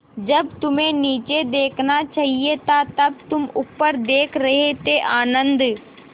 जब तुम्हें नीचे देखना चाहिए था तब तुम ऊपर देख रहे थे आनन्द